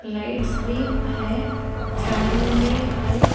Lights भी है fan भी है।